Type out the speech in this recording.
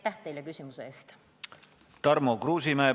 Tarmo Kruusimäe, palun!